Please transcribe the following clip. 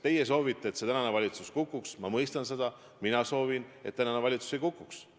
Teie soovite, et tänane valitsus kukuks – ma mõistan seda –, mina soovin, et tänane valitsus ei kukuks.